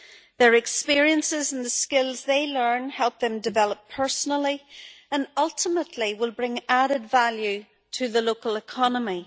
Their experiences and the skills they learn help them develop personally, and will ultimately bring added value to the local economy.